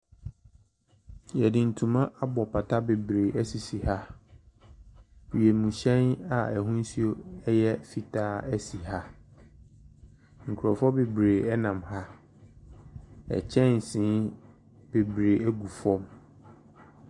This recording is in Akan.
Wɔde ntoma abɔ pata bebree sisi ha. Wiemhyɛn a n'ahosuo yɛ fitaa si ha. Nkurɔfoɔ bebree nam ha. Kyɛnse bebree gu fam.